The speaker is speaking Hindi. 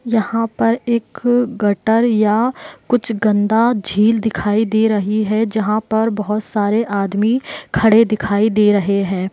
यहाँ पर एक गटर या कुछ गन्दा झील दिखाई दे रही है जहाँ पर बहोत सारे आदमी खड़े दिखाई दे रहे है।